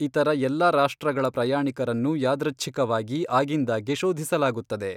ಇತರ ಎಲ್ಲ ರಾಷ್ಟ್ರಗಳ ಪ್ರಯಾಣಿಕರನ್ನು ಯಾದೃಚ್ಛಿಕವಾಗಿ ಆಗಿಂದಾಗ್ಗೆ ಶೋಧಿಸಲಾಗುತ್ತದೆ.